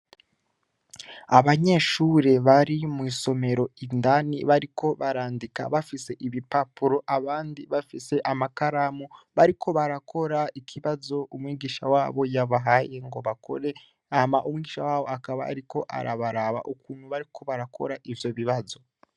Abanyeshure bari mw'isomero indani bariko barandika bafise ibipapuro abandi amakaramu, bariko barakora ikibazo umwigisha wabo yabahaye ngo bakore ,hama umwigisha wabo akaba ariko arabaraba , ukuntu bariko barakora ivyo bibazo.